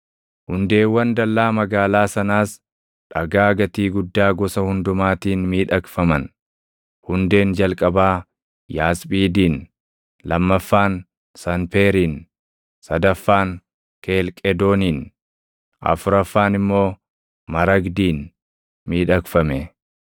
Hundeewwan dallaa magaalaa sanaas dhagaa gatii guddaa gosa hundumaatiin miidhagfaman. Hundeen jalqabaa yaasphiidiin, lammaffaan sanpeeriin, + 21:19 Sanpeeriin – dhagaa gatii guddaa kan bifa cuquliisaa qabu. sadaffaan keelqedooniin, + 21:19 Keelqedooniin – dhagaa gatii guddaa kan bifa adda addaa, yeroo baayʼee magariisaa (hadhoo). afuraffaan immoo maragdiin + 21:19 maragdiin – dhagaa magariisa gatii guddaa. miidhagfame;